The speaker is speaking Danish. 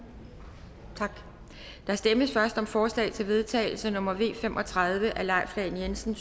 tak der stemmes først om forslag til vedtagelse nummer v fem og tredive af leif lahn jensen